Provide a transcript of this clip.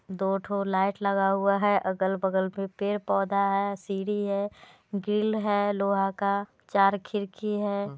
दोठो light लगा हुआ है अगल बगल मे पेड़ पौधा है सीढ़ी है ग्रिल है लोहा का चार खिड़की है।